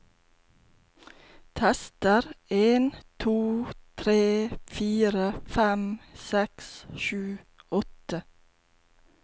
Tester en to tre fire fem seks sju åtte